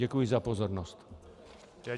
Děkuji za pozornost.